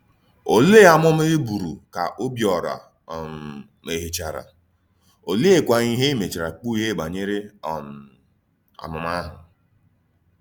Òlee àmùmà e bùrù ka Òbíòrà um méhìèchàrà, ólèékwà íhè e méchàrà kpùghéé banyere um àmùmà àhụ̀?